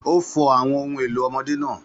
Ó fọ àwọn ohun èlò ọmọdé náà.